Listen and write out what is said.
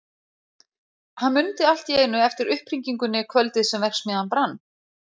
Hann mundi allt í einu eftir upphringingunni kvöldið sem verksmiðjan brann.